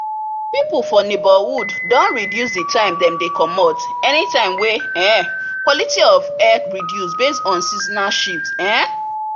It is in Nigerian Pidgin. people for neighbourhood don reduce the time dem they comomot anytime wey um quality of air reduce base on seasonal shift um